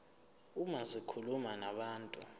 uma zikhuluma nabantu